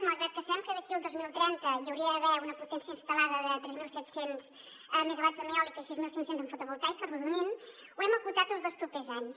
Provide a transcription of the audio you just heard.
malgrat que sabem que d’aquí al dos mil trenta hi hauria d’haver una potència instal·lada de tres mil set cents megawatts en eòlica i sis mil cinc cents en fotovoltaica arrodonint ho ho hem acotat als dos propers anys